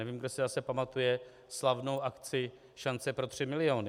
Nevím, kdo si zase pamatuje slavnou akci Šance pro tři miliony.